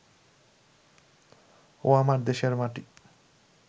ও আমার দেশের মাটি